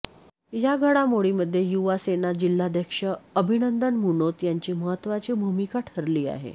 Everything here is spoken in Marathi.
या घडामोडीमधे युवा सेना जिल्हाध्यक्ष अभिनंदन मुनोत यांची महत्त्वाची भूमिका ठरली आहे